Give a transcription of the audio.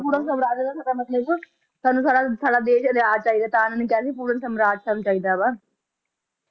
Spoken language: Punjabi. ਪੂਰਨ ਸਵਰਾਜ ਦਾ ਸਾਡਾ ਮਤਲਬ ਸਾਨੂ ਸਾਡਾ ਸਾਡਾ ਦੇਸ਼ ਆਜ਼ਾਦ ਚਾਹੀਦਾ ਤਾ ਇਹਨਾਂ ਨੇ ਕਿਹਾ ਸੀ ਪੂਰਣ ਸਵਰਾਜ ਸਾਨੂੰ ਚਾਹੀਦਾ ਵਾ